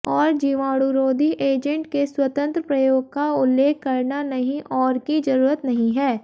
और जीवाणुरोधी एजेंट के स्वतंत्र प्रयोग का उल्लेख करना नहीं और की जरूरत नहीं है